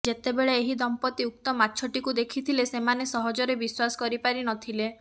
ଯେତେବେଳେ ଏହି ଦମ୍ପତି ଉକ୍ତ ମାଛଟିକୁ ଦେଖିଥିଲେ ସେମାନେ ସହଜରେ ବିଶ୍ବାସ କରିପାରିନଥିଲେ